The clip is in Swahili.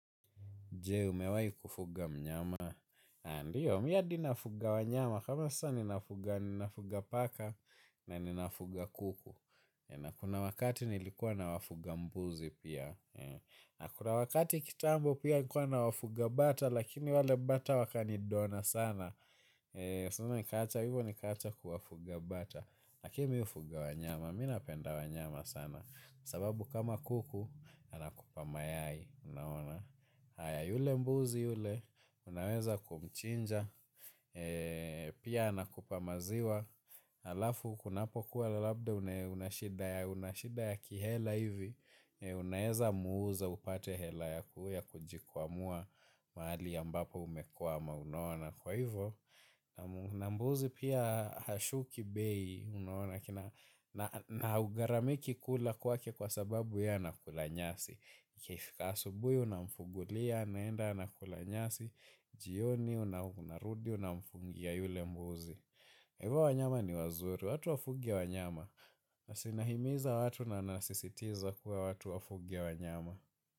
Je, umewahi kufuga mnyama. Ndiyo, mimi hadi nafuga wanyama. Kama sasa ninafuga, ninafuga paka na ninafuga kuku. Na kuna wakati nilikuwa nawafuga mbuzi pia. Na kuna wakati kitambo pia nikuwa nawafuga bata, lakini wale bata wakanidona sana. Soon nikaacha, hivyo nikaacha kuwafuga bata. Lakini mimi hufuga wanyama, mimi napenda wanyama sana. Sababu kama kuku, anakupa mayai. Haya yule mbuzi yule, unaweza kumchinja, pia anakupa maziwa, halafu kunapokuwa labda una shida ya kihela hivi, unaweza muuza upate hela yakujikwamua mahali ambapo umekwama unaona kwa hivyo. Na mbuzi pia hashuki bei unaona na hugharamiki kula kwake kwa sababu ye anakula nyasi. Ikifika asubuhi unamfungulia, anaenda anakula nyasi, jioni unarudi unamfungia yule mbuzi. Hivyo wanyama ni wazuri, watu wafuge wanyama. Si nahimiza watu na nasisitiza kuwa watu wafuge wanyama.